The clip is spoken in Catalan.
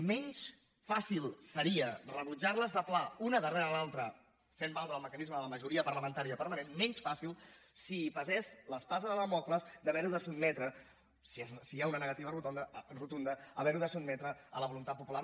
menys fàcil seria rebutjar les de pla una darrere l’altra fent valdre el mecanisme de la majoria parlamentària permanent menys fàcil si pesés l’espasa de dàmocles d’haver ho de sotmetre si hi ha una negativa rotunda a la voluntat popular